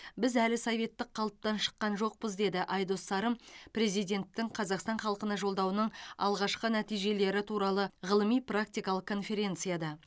біз әлі советтік қалыптан шыққан жоқпыз деді айдос сарым президенттің қазақстан халқына жолдауының алғашқы нәтижелері туралы ғылыми практикалық конференцияда